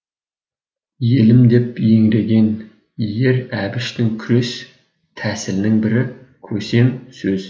елім деп еңіреген ер әбіштің күрес тәсілінің бірі көсем сөз